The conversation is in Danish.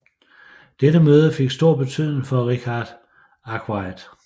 Dette møde fik stor betydning for Richard Arkwright